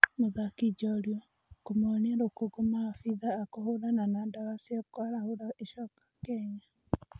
Mũthaki njorua kũmonia rũkũngũmaabithaa a kũhũrana na ndawa cia kwarahũra icoka Kenya.